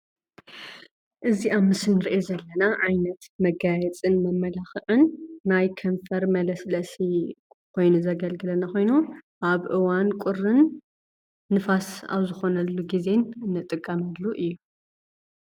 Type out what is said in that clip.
እዚ ኣብ ምስሊ እንሪኦ ዘለና ዓይነት መጋየፅን መመላኽዕን ናይ ከንፈር መለስለሲ ኾይኑ ዘገልግለና ኮይኑ ኣብ እዋን ቁሪን ንፋስ ኣብ ዝኾነሉ ግዜ ንጥቀመሉ እዩ።